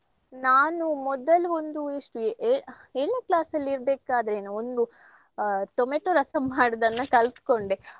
ನಾನು ಮೊದಲು ಒಂದು ಎಷ್ಟು ಏ~ ಏ~ ಏಳ್ನೇ class ಅಲ್ಲಿ ಇರ್ಬೇಕಾದ್ರೆನೋ ಒಂದು ಆಹ್ ಟೊಮೇಟೊ ರಸಂ ಮಾಡೋದನ್ನ ಕಲ್ತ್ಕೊಂಡೆ.